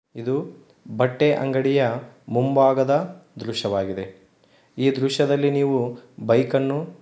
ಇದು ಬಟ್ಟೆ ಅಂಗಡಿಯ ಮುಂಭಾಗದ ದೃಷ್ಟಿ ವಾಗಿದೆ ಈ ದೃಷ್ಟಿದಲ್ಲಿ ನೀವು ಬೈಕ್ ಅನ್ನು --